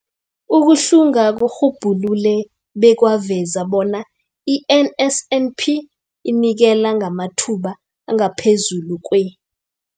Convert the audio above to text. Ukuhlunga kurhubhulule bekwaveza bona i-NSNP inikela ngamathuba angaphezulu kwe-